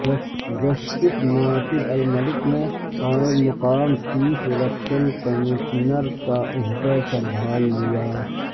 justice Nasir ul Mulk نے قائم مقام چیف الیکشن کشمنر کا عہدہ سنبھال لیا